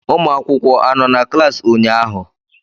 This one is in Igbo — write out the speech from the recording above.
ụmụ akwụkwọ anọ na klaasị ụnyaahụ?